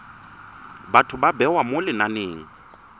batho ba bewa mo lenaneng